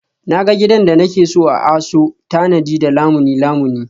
Na ga gidan da nake so a ASO tanadi da Lamuni Lamuni